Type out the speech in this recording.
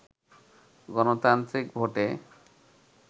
গণতান্ত্রিক ভোটে